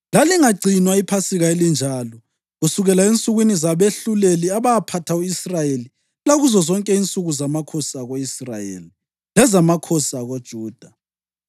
Lalingagcinwa iPhasika elinjalo kusukela ensukwini zabehluleli abaphatha u-Israyeli, lakuzo zonke insuku zamakhosi ako-Israyeli lezamakhosi akoJuda.